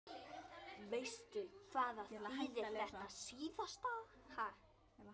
Veistu hvað það þýðir þetta síðasta?